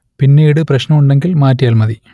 പിന്നീട് പ്രശ്നം ഉണ്ടെങ്കിൽ മാറ്റിയാൽ മതി